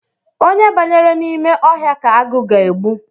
Onye banyere n’ime ọhịa ka agụ ga-egbu